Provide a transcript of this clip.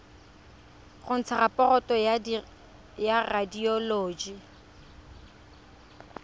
go ntsha raporoto ya radioloji